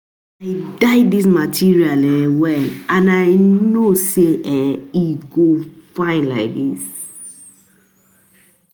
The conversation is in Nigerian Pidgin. I dye dis material um well and I no even know um say e um go fine like dis